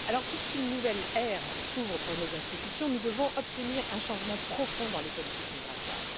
Dès lors, puisqu'une nouvelle ère s'ouvre pour nos institutions, nous devons obtenir un changement profond dans les politiques migratoires.